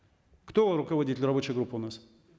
кто руководитель рабочей группы у нас